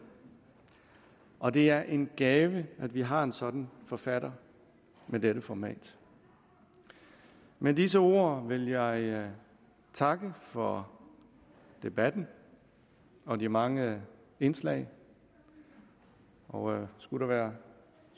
og at det er en gave at vi har en sådan forfatter af dette format med disse ord vil jeg jeg takke for debatten og de mange indslag og skulle der være